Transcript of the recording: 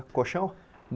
Com colchão?